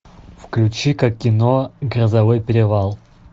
включи ка кино грозовой перевал